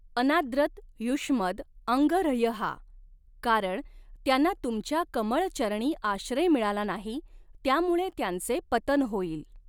अनाद्रत युष्मद् अङ्ह्रयः कारण त्यांना तुमच्या कमळ चरणी आश्रय मिळाला नाही त्यामुळे त्यांचे पतन होईल.